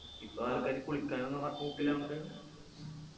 ഇപ്പൊ ആൾക്കാര് കുളിക്കാനൊന്നു ഏർ പോക്കില്ലാന്ന് പറയുന്നു